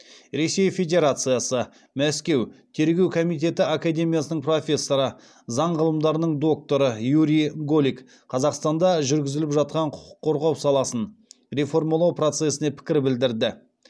ресей федерациясы мәскеу тергеу комитеті академиясының профессоры заң ғылымдарының докторы юрий голик қазақстанда жүргізіліп жатқан құқық қорғау саласын реформалау процесіне пікір білдірді